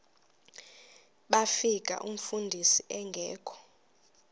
bafika umfundisi engekho